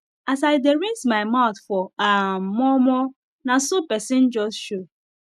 as i dey rinse my mouth for um momo naso person jus show